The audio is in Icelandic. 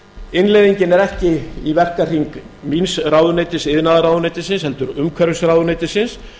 innleiðingin er ekki í verkahring míns ráðuneytis iðnaðarráðuneytisins heldur umhverfisráðuneytisins